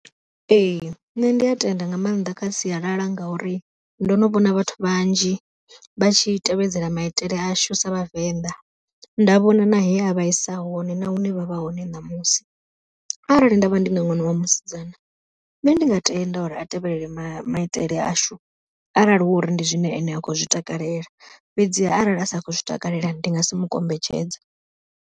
Ee nṋe ndi a tenda nga maanḓa kha sialala ngauri ndo no vhona vhathu vhanzhi vha tshi tevhedzela maitele ashu sa vhavenḓa, nda vhona na he a vhaisa hone na hune vha vha hone ṋamusi. Arali nda vha ndi nga ṅwana wa musidzana, nṋe ndi nga tenda uri a tevhelele maitele ashu, arali hu uri ndi zwine ene a khou zwi takalela, fhedziha arali a si khou zwi takalela ndi nga si mu kombetshedze.